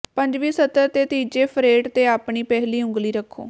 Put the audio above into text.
ਪੰਜਵੀਂ ਸਤਰ ਦੇ ਤੀਜੇ ਫਰੇਟ ਤੇ ਆਪਣੀ ਪਹਿਲੀ ਉਂਗਲੀ ਰੱਖੋ